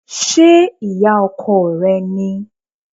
Ṣé ìyá ọkọ rẹ ni?